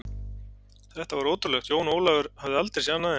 Þetta var ótrúlegt, Jón Ólafur hafði aldrei séð annað eins.